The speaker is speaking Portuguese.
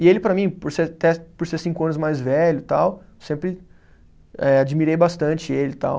E ele para mim, por ser, por cinco anos mais velho e tal, sempre admirei bastante ele e tal.